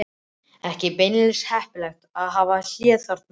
Ekki beinlínis heppilegt að hafa hléið þarna.